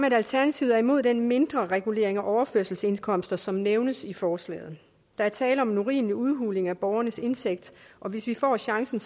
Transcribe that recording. at alternativet er imod den mindreregulering af overførselsindkomster som nævnes i forslaget der er tale om en urimelig udhuling af borgernes indtægt og hvis vi får chancen